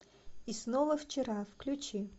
и снова вчера включи